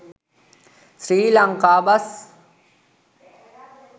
sri lanka bus